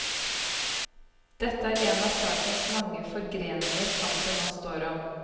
Dette er en av sakens mange forgreninger kampen nå står om.